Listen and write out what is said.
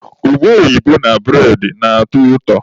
Ube oyibo na bụredị na-atọ ụtọ.